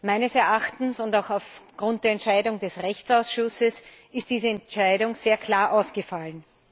Meines Erachtens und auch aufgrund der Entscheidung des Rechtsausschusses ist diese Entscheidung sehr klar ausgefallen.